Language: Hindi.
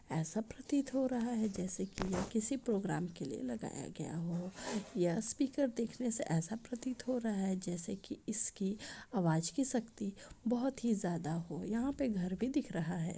ऐसा प्रतीत हो रहा है जैसे कि यह किसी प्रोग्राम के लिए लगाया गया हो यह स्पीकर देखने से ऐसा प्रतीत हो रहा है जैसे की इसकी आवाज की शक्ति बोहोत ही ज्यादा हो यहाँ पे घर भी दिख रहा है।